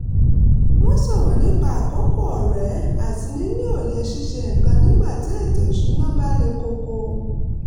wọ́n sọ̀rọ̀ nípa àkókò ọrẹ àti níni òye ṣíṣe nǹkan nígbàtí ètò ìṣúnná bá le koko